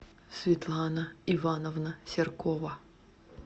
светлана ивановна серкова